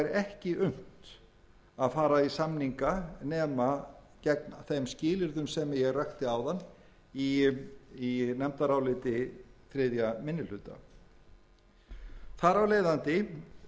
er ekki unnt að fara í samninga nema gegn þeim skilyrðum sem ég rakti áðan í nefndaráliti þriðji minni hluta þar af leiðandi er gerð tillaga